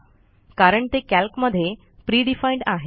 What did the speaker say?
कारण ते कॅल्कमध्ये pre डिफाईन्ड आहेत